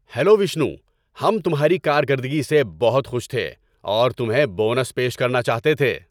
Hello Vishnu, ہم تمھاری کارکردگی سے بہت خوش تھے اور تمھیں بونس پیش کرنا چاہتے تھے۔